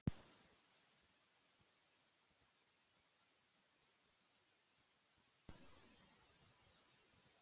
Ágætt er að hafa í huga að flestar hefðbundnar lækningaraðferðir nútímans voru einhverntíma óhefðbundnar aðferðir.